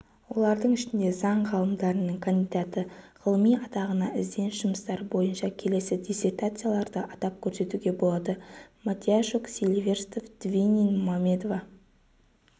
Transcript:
олардың ішінде заң ғылымдарының кандидаты ғылыми атағына ізденіс жұмыстары бойынша келесі диссертацияларды атап көрсетуге болады матиящук силиверстов двинин мамедова